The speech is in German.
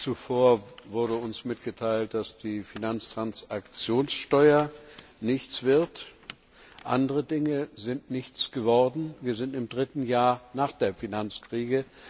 Zuvor wurde uns mitgeteilt, dass aus der Finanztransaktionssteuer nichts wird, andere Dinge sind auch nichts geworden. Wir befinden uns im dritten Jahr nach der Finanzkrise.